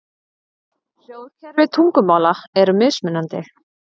Hljóðkerfi tungumála eru mismunandi.